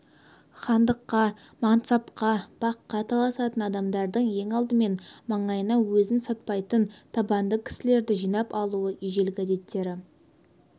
хандыққа мансапқа баққа таласатын адамдардың ең алдымен маңайына өзін сатпайтын табанды кісілерді жинап алуы ежелгі әдеттері